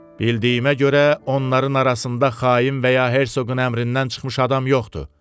Bildiyimə görə, onların arasında xain və ya Herseqqun əmrindən çıxmış adam yoxdur.